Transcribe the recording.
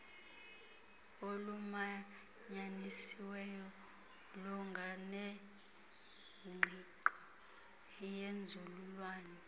olumanyanisiweyo lunganengqiqo yenzululwazi